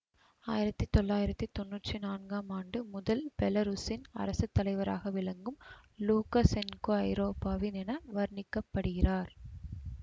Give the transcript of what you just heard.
ஆயிரத்தி தொள்ளாயிரத்தி தொன்னூத்தி நான்காம் ஆண்டு முதல் பெலருசின் அரசு தலைவராக விளங்கும் லூக்கசென்கோ ஐரோப்பாவின் என வர்ணிக்கப்படுகிறார்